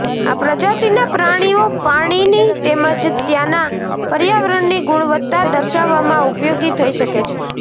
આ પ્રજાતિના પ્રાણીઓ પાણીની તેમજ ત્યાંના પર્યાવરણની ગુણવત્તા દર્શાવવામાં ઉપયોગી થઈ શકે છે